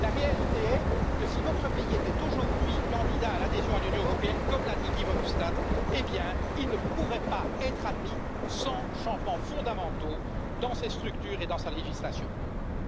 La réalité est que si votre pays était aujourd'hui candidat à l'adhésion à l'UE, comme l'a dit Guy Verhofstadt, il ne pourrait pas être admis sans changements fondamentaux dans ses structures et dans sa législation.